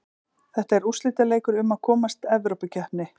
Þetta er úrslitaleikur um að komast Evrópukeppni.